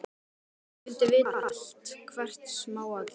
Hún vildi vita allt, hvert smáatriði.